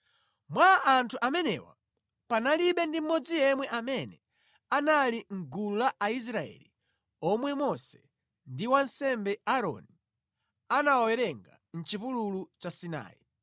Mwa anthu amenewa panalibe ndi mmodzi yemwe amene anali mʼgulu la Aisraeli omwe Mose ndi wansembe Aaroni anawawerenga mʼchipululu cha Sinai;